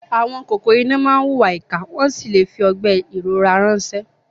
Àwọn kòkòrò iná máa ń hùwà ìkà wọ́n sì lè fi ọgbẹ́ ìrora ránṣẹ́.